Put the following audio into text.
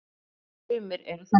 Sumir eru þannig.